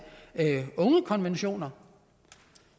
ungekonventioner